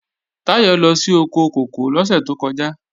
Táyọ̀ lọ sí oko kòkó lọ́sẹ̀ tó kọjá